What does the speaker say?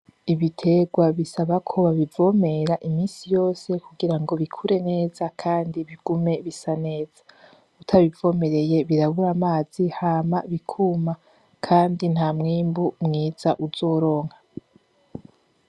Ibiterwa bisaba ko babivomera imisi yose kugira ngo bikure neza kandi bigume bisa neza. Utabivomereye birabura amazi hama bikuma, kandi nta mwimbu mwiza uzoronka.